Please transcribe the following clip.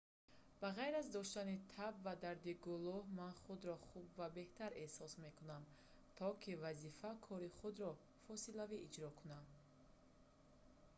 ба ғайр аз доштани таб ва дарди гулӯ ман худро хуб ва беҳтар эҳсос мекунам то ки вазифа кори худро фосилавӣ иҷро кунам